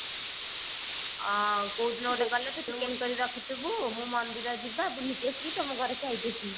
ଅ କଉଦିନ ଗୋଟେ ଗଲେ ତୁ chicken କରିକି ରଖିଥିବୁ ମୁ ମନ୍ଦିର ଯିବା ବୁଲିକି ଆସିକି ତମ ଘରେ ଖାଇକି ଆସିବି